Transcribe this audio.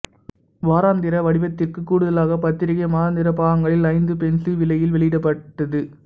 வாராந்திர வடிவத்திற்கு கூடுதலாக பத்திரிகை மாதாந்திர பாகங்களில் ஐந்து பென்சு விலையில் வெளியிடப்பட்டது